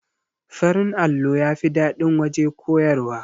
Farin allo yafi daɗin waje koyarwa